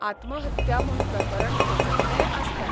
आत्महत्या म्हूण प्रकरण पचयिल्लेंय आसता.